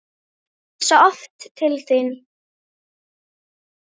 Ég hugsa oft til þín.